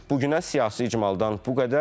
Bugünə siyasi icmaldan bu qədər.